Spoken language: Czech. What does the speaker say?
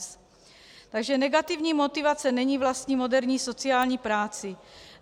Takže negativní motivace není vlastní moderní sociální práci.